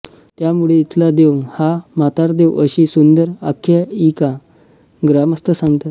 त्यामुळे इथला देव हा म्हातारदेव अशी सुंदर आख्यायिका ग्रामस्थ सांगतात